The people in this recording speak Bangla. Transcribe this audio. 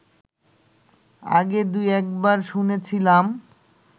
আগে দুই-একবার শুনেছিলাম